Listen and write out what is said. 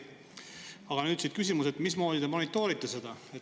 Aga nüüd küsimus: mismoodi te monitoorite seda?